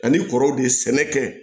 Ani kɔrɔw de ye sɛnɛ kɛ